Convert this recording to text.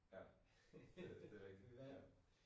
Ja. Det det rigtigt ja